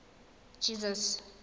jesus